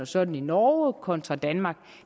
sådan i norge kontra i danmark